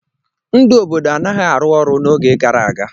Ndụ obodo anaghị arụ ọrụ n'oge gara aga.